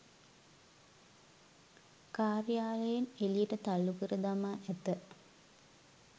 කාර්යාලයෙන් එළියට තල්ලු කර දමා ඇත